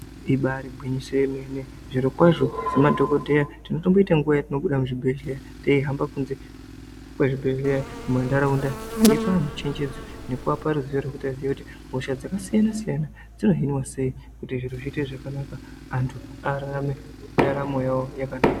Ibari gwinyiso yemene zvirokwazvo semadhokodheya tinotomboita nguwa yatinobuda muzvibhedhleya teihamba kunze kwezvibhedhleya mumantaraunda teipa anthu chenjedzo nekuapa ruzivo rwekuti azive kuti hosha dzakasiyana siyana dzinohinwa sei kuti zviro zviitr zvakanaka antu akone kurarama ndaramo yavo zvakanaka.